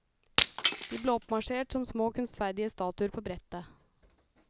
De ble oppmarsjert som små kunstferdige statuer på brettet.